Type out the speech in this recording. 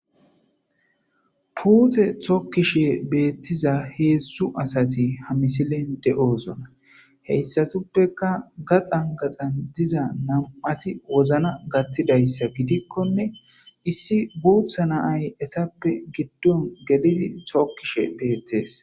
Puute tokkishe beettiza hedzdzu asti ha misilen de7osona hessatuppekka gaxan gaxan diza nam7ati wozana gaththidayssa gidikkonne issi guutha na7ay etappe giddon geli tokkishe Beettees.